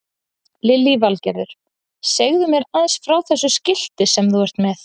Lillý Valgerður: Segðu mér aðeins frá þessu skilti sem þú ert með?